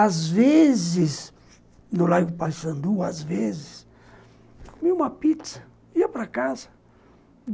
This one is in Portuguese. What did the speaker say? Às vezes, no Largo Paissandú, às vezes, uma pizza, ia para casa.